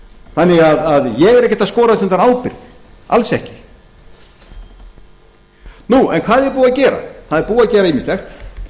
þannig að ég er ekkert að skorast undan ábyrgð alls ekki hvað er búið að gera það er búið að gera ýmislegt